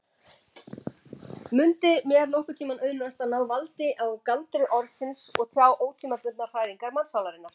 Mundi mér nokkurntíma auðnast að ná valdi á galdri orðsins og tjá ótímabundnar hræringar mannssálarinnar?